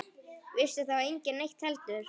Vissi þá enginn neitt heldur?